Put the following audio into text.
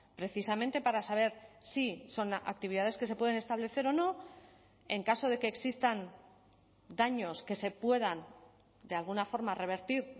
precisamente para saber si son actividades que se pueden establecer o no en caso de que existan daños que se puedan de alguna forma revertir